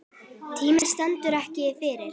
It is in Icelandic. Tíminn stendur ekki kyrr.